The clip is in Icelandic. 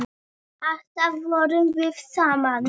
Alltaf vorum við saman.